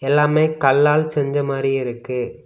எல்லாமே கல்லால் செஞ்ச மாரி இருக்கு.